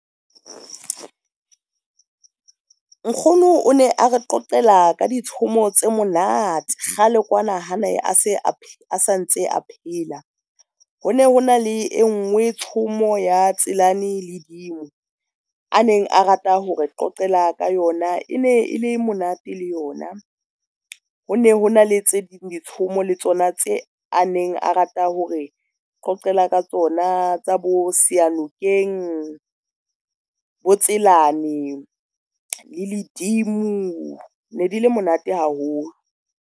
Nkgono o ne a re qoqela ka ditshomo tse monate kgale kwana ha ne a sa ntse a phela. Ho ne hona le engwe tsomo ya Tselane le Dimo, a neng a rata hore qoqela ka yona e ne e le monate le yona. Ho ne hona le tse ding, ditshomo le tsona tse a neng a rata hore qoqela ka tsona tsa bo Seyanokeng, bo Tselane, le Ledimo ne di le monate haholo.